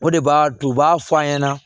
O de b'a to u b'a fɔ an ɲɛna